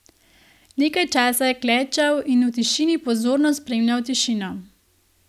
Nekaj časa je klečal in v tišini pozorno spremljal Tišino.